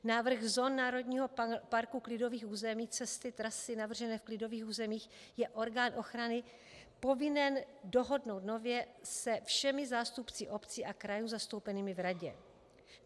Návrh zón národního parku, klidových území, cesty, trasy navržené v klidových územích je orgán ochrany povinen dohodnout nově se všemi zástupci obcí a krajů zastoupenými v radě.